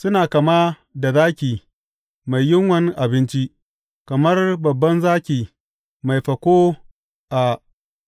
Suna kama da zaki mai yunwan abinci, kamar babban zaki mai fako a